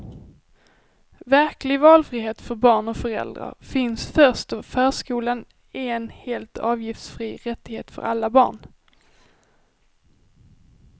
Verklig valfrihet för barn och föräldrar finns först då förskolan är en helt avgiftsfri rättighet för alla barn.